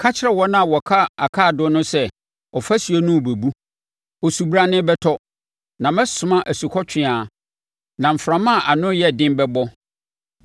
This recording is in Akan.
ka kyerɛ wɔn a wɔka akaadoo no sɛ, ɔfasuo no rebɛbu. Osubrane bɛtɔ, na mɛsoma asukɔtweaa, na mframa a ano yɛ den bɛbɔ.